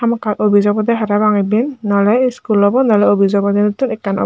hamakkiy office obode parapang iben nole school obo nole school obo dinottun ekkan.